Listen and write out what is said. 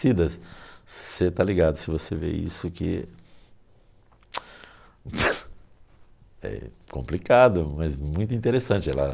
Cida, você está ligado, se você vê isso aqui... É complicado, mas muito interessante.